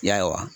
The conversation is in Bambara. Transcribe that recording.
Ya